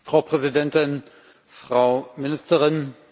Frau Präsidentin, Frau Ministerin!